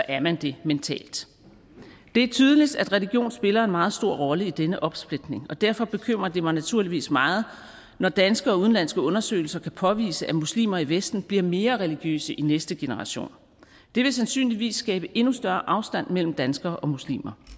er man det mentalt det er tydeligt at religion spiller en meget stor rolle i denne opsplitning og derfor bekymrer det mig naturligvis meget når danske og udenlandske undersøgelser kan påvise at muslimer i vesten bliver mere religiøse i de næste generationer det vil sandsynligvis skabe endnu større afstand mellem danskere og muslimer